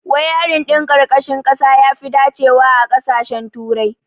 Wayarin ɗin ƙarƙashin ƙasa yafi dacewa a ƙasashen turai.